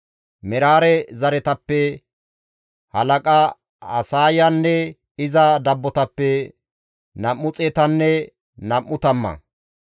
Meraare zereththatappe halaqa Asaayanne iza dabbotappe nam7u xeetanne nam7u tamma;